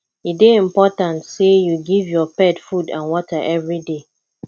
e dey important sey you give your pet food and water everyday